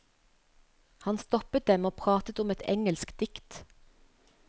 Hun stoppet dem og pratet om et engelsk dikt.